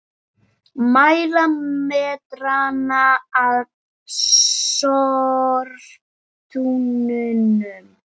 Mæla metrana að sorptunnunum